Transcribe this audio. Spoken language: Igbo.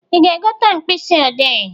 Ị ga-egote mkpisị ọdee?